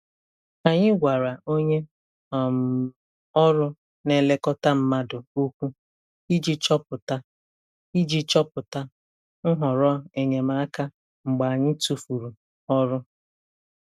Anyị gwara onye um ọrụ na-elekọta mmadụ okwu iji chọpụta iji chọpụta nhọrọ enyemaka mgbe anyị tụfuru ọrụ.